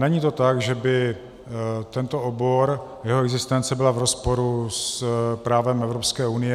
Není to tak, že by tento obor, jeho existence byla v rozporu s právem Evropské unie.